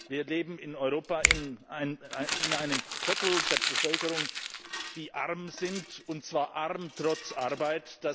Wir leben in Europa mit einem Viertel der Bevölkerung, die arm ist, und zwar arm trotz Arbeit.